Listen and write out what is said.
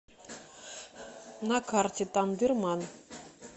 на карте тандырман